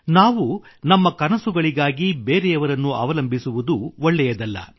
ನಾವು ನಮ್ಮ ಕನಸುಗಳಿಗಾಗಿ ಬೇರೆಯವರನ್ನು ಅವಲಂಬಿಸುವುದು ಒಳ್ಳೆಯದಲ್ಲ